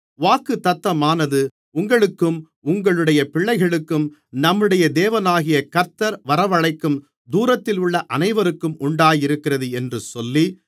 வாக்குத்தத்தமானது உங்களுக்கும் உங்களுடைய பிள்ளைகளுக்கும் நம்முடைய தேவனாகிய கர்த்தர் வரவழைக்கும் தூரத்திலுள்ள அனைவருக்கும் உண்டாயிருக்கிறது என்று சொல்லி